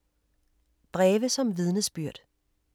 Breve som vidnesbyrd